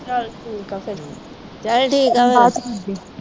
ਚਲ ਠੀਕ ਆ ਫਿਰ। ਬਾਅਦ ਚ ਕਰਦੀ ਆ।